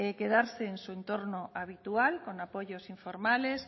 quedarse en su entorno habitual con apoyos informales